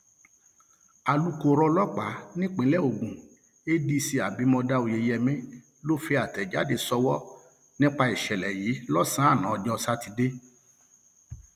alūkkóró ọlọpàá nípínlẹ um ogun adc abimodá oyeyèmí ló fi àtẹjáde sọwọ nípa um ìṣẹlẹ yìí lọsànán ọjọ sátidé